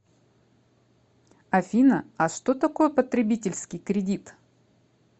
афина а что такое потребительский кредит